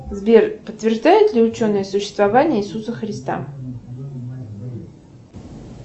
сбер подтверждают ли ученые существование иисуса христа